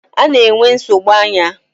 Ana-enwe nsogbu anya.